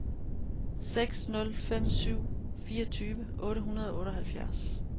seks nul fem syv fireogtyve otte hundrede og otteoghalvfjerds